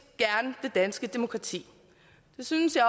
gerne det danske demokrati det synes jeg